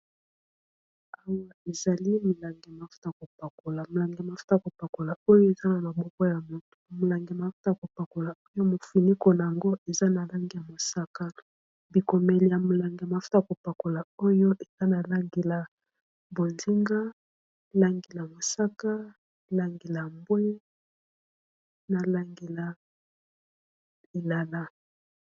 awa ezali milange mafuta kopakola molangemafuta kopakola oyo eza na na bokwa ya moto molange mafuta kopakola oyo mofuniko na yango eza na langeya mosaka bikomeli ya molange mafuta kopakola oyo eza na langila bondinga langila mosaka langila mbwe na langila inala